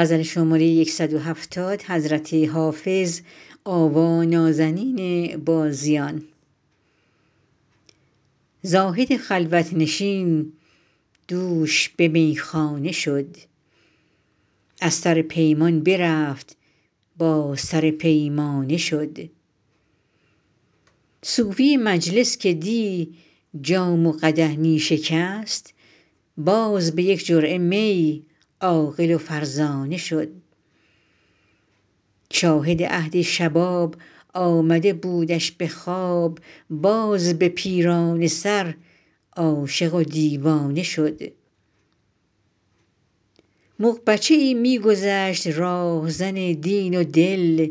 زاهد خلوت نشین دوش به میخانه شد از سر پیمان برفت با سر پیمانه شد صوفی مجلس که دی جام و قدح می شکست باز به یک جرعه می عاقل و فرزانه شد شاهد عهد شباب آمده بودش به خواب باز به پیرانه سر عاشق و دیوانه شد مغ بچه ای می گذشت راهزن دین و دل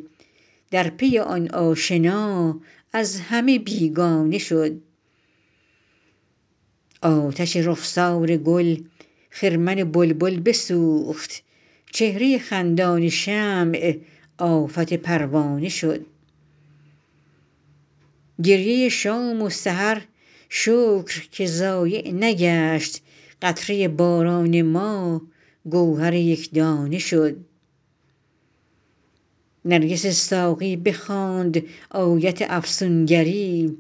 در پی آن آشنا از همه بیگانه شد آتش رخسار گل خرمن بلبل بسوخت چهره خندان شمع آفت پروانه شد گریه شام و سحر شکر که ضایع نگشت قطره باران ما گوهر یک دانه شد نرگس ساقی بخواند آیت افسون گری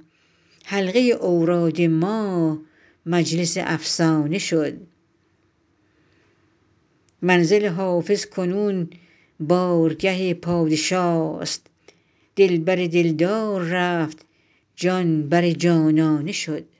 حلقه اوراد ما مجلس افسانه شد منزل حافظ کنون بارگه پادشاست دل بر دل دار رفت جان بر جانانه شد